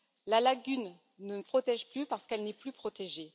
La lagune ne protège plus parce qu'elle n'est plus protégée.